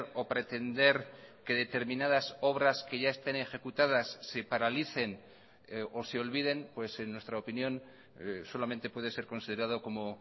o pretender que determinadas obras que ya estén ejecutadas se paralicen o se olviden pues en nuestra opinión solamente puede ser considerado como